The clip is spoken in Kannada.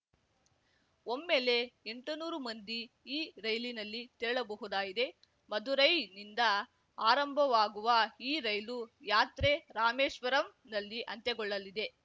ಒಮ್ಮೆಲೆ ಎಂಟ ನೂರು ಮಂದಿ ಈ ರೈಲಿನಲ್ಲಿ ತೆರಳಬಹುದಾಗಿದೆ ಮದುರೈನಿಂದ ಆರಂಭವಾಗುವ ಈ ರೈಲು ಯಾತ್ರೆ ರಾಮೇಶ್ವರಂನಲ್ಲಿ ಅಂತ್ಯಗೊಳ್ಳಲಿದೆ